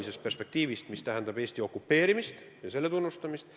See puudutab ajalugu, Eesti okupeerimist ja selle tunnustamist.